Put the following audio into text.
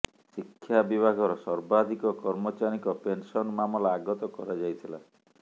ଶିକ୍ଷା ବିଭାଗର ସର୍ବାଧିକ କର୍ମଚାରୀଙ୍କ ପେନସନ୍ ମାମଲା ଆଗତ କରାଯାଇଥିଲା